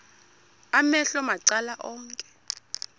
amehlo macala onke